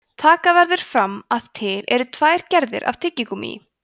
taka verður fram að til eru tvær gerðir af tyggigúmmí